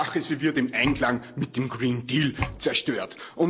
Hauptsache, sie wird im Einklang mit dem Green Deal zerstört.